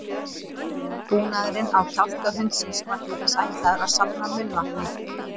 Búnaðurinn á kjálka hundsins var til þess ætlaður að safna munnvatni.